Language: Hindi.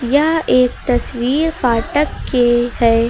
यह एक तस्वीर फाटक के है।